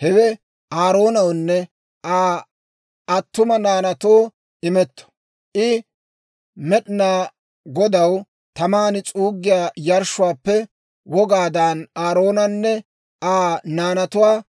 Hewe Aaroonawunne Aa attuma naanaatoo imetto; I Med'inaa Godaw taman s'uuggiyaa yarshshuwaappe wogaadan Aaroonanne Aa naanatuwaa